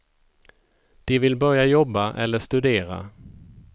De vill börja jobba eller studera.